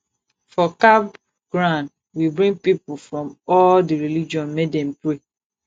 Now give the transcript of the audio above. for camp ground we bring pipu from all di religion make dem pray